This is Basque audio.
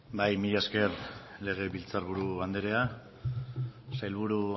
bai mila esker legebiltzar buru andrea sailburu